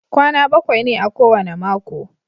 Kwana bakwai ne a kowane mako.